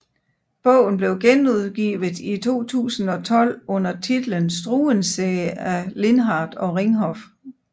Bogen blev genudgivet i 2012 under titlen Struensee af Lindhardt og Ringhof